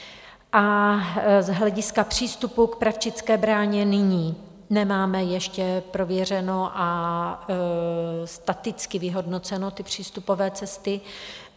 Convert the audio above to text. A z hlediska přístupu k Pravčické bráně nyní nemáme ještě prověřeny a staticky vyhodnoceny ty přístupové cesty.